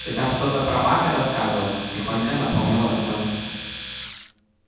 ты там что-то про мага рассказывал тихонько напомнил артём